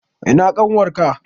Ina ƙanwar ka?